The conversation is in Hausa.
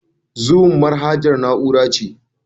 Zoom manahajan na'ura ne.